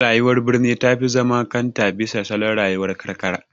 Rayuwar birni ta fi zaman kanta bisa salon rayuwar karkara.